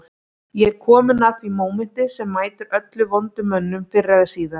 Ég er kominn að því mómenti sem mætir öllum vondum mönnum fyrr eða síðar